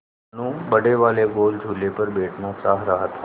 मनु बड़े वाले गोल झूले पर बैठना चाह रहा था